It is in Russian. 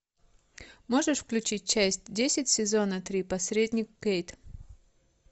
можешь включить часть десять сезона три посредник кейт